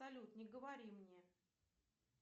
салют не говори мне